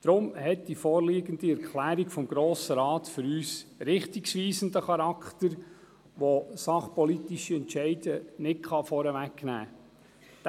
Deshalb hat die vorliegende Erklärung des Grossen Rates für uns einen richtungsweisenden Charakter, der sachpolitische Entscheide nicht vorwegnehmen kann.